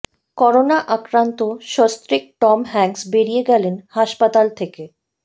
corona আক্রান্ত সস্ত্রীক Tom Hanks বেড়িয়ে গেলেন হাসপাতাল থেকে